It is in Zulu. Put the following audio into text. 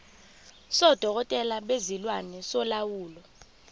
sodokotela bezilwane solawulo